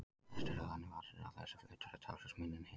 Flestir eru þannig vaxnir að þessi flötur er talsvert minni en hinn.